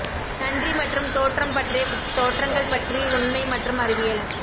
நன்றி மற்றும் தோற்றம் பற்றிய தோற்றங்கள் பற்றி உண்மை மற்றும் அறிவியல்